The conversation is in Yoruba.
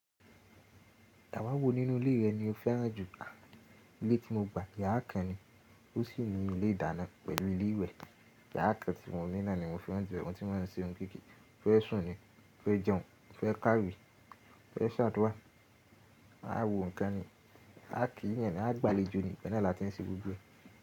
Yàra wo nínú ilé rẹ ni o fẹ́ràn jù? À, ilé tí mo gbà, yàrá kan ni. Ó sì ní ilé ìdáná pẹ̀lú ilé ìwẹ̀. Yàrá kan tí mo ní náà ni mo fẹ́ràn jù. Ọ̀ún tí wọ́n fi se oun kéékèké, ó fẹ́ sùn ni, ó fẹ́ jẹun, ó fẹ́ kárí, ó fẹ́ ṣat wá. Máa wo nǹkan ni, a kì í eeyan nì, a gbàlejò ni, bẹ́ẹ̀ ni a ti ń ṣe gbogbo ẹ.